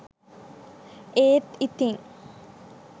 ඒත් ඉතිං